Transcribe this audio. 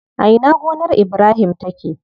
A ina gonar Ibrahim take?